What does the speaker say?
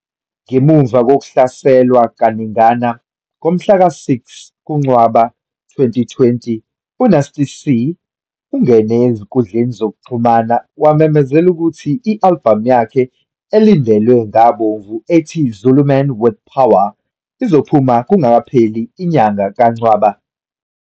Ngemuva kokuhlehliswa kaningana, ngomhlaka-6 kuNcwaba 2020, uNasty C ungene ezinkundleni zokuxhumana wamemezela ukuthi i-albhamu yakhe elindelwe ngabomvu ethi "Zulu Man with Some Power" izophuma kungakapheli inyanga kaNcwaba.